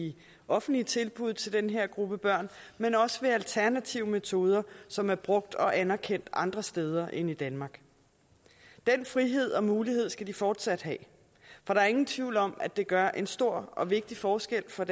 i offentlige tilbud til den her gruppe børn men også ved alternative metoder som er brugt og anerkendt andre steder end i danmark den frihed og mulighed skal de fortsat have for der er ingen tvivl om at det gør en stor og vigtig forskel for